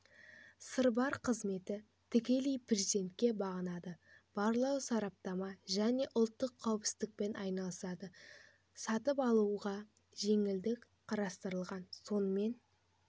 сырбар қызметі тікелей президентке бағынады барлау сараптама және ұлттық қауіпсіздікпен айналысады сатып алушыға жеңілдік қарастырылған сонымен